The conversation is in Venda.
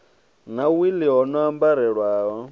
na wili ho no ambarelaho